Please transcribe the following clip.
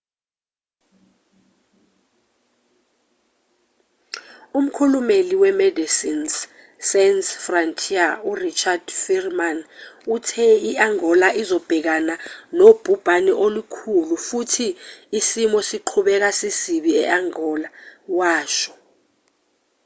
umkhulumeli we-medecines sans frontiere u-richard veerman uthe i-angola izobhekana nobhubhane olukhulu futhi isimo siqhubeka sisibi e-angola washo